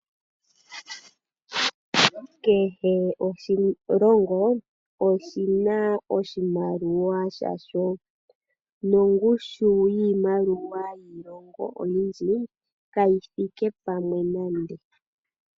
Kehe oshilongo oshina oshimaliwa shasho, nongushu yiimaliwa yiilongo oyindji kayithike pamwe nande.